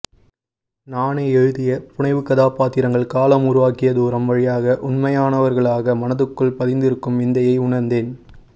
நானே எழுதிய புனைவுக்கதாபாத்திரங்கள் காலம் உருவாக்கிய தூரம் வழியாக உண்மையானவர்களாக மனதுக்குள் பதிந்திருக்கும் விந்தையை உணர்ந்தேன்